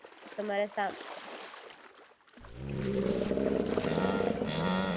હા તમને બતાવી આપું હું તમને પહેલા ફોનપે ની માહિતી આપી દઉં પછી બંનેના ડિફરન્સ સમજાવી દો